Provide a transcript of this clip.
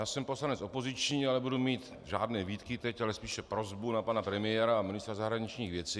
Já jsem poslanec opoziční, ale nebudu mít žádné výtky teď, ale spíše prosbu na pana premiéra a ministra zahraničních věcí.